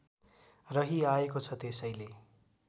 रहिआएको छ त्यसैले